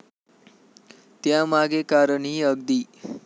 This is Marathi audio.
त्यामागे कारणही अगदी.